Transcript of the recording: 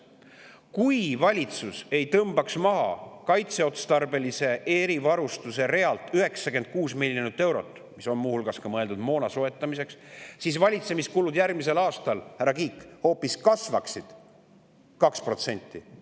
Kui valitsus ei tõmbaks maha kaitseotstarbelise erivarustuse realt 96 miljonit eurot, mis on muu hulgas mõeldud moona soetamiseks, siis valitsemiskulud järgmisel aastal, härra Kiik, hoopis kasvaksid 2%.